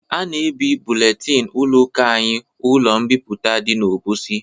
A na-ebi buletin ụlọ ụka anyị ụlọ mbipụta dị n'Obosi